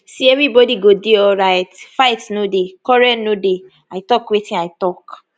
see evribodi go dey alright fight no dey quarrel no dey i tok wetin i tok